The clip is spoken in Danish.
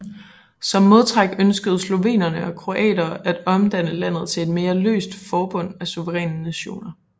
Som modtræk ønskede slovenere og kroater at omdanne landet til et mere løst forbund af suveræne nationer